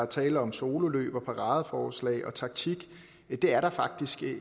tale om sololøb og paradeforslag og taktik det er der faktisk ikke